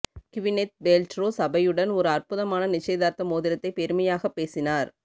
Gwyneth Paltrow சபையுடன் ஒரு அற்புதமான நிச்சயதார்த்த மோதிரத்தை பெருமையாகப் பேசினார்